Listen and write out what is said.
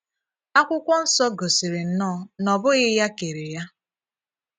Akwụkwọ nsọ gosiri nnọọ na ọ̀ bụghị ya kèrè ya.